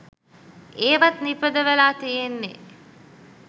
ඒවත් නිපදවලා තියෙන්නෙ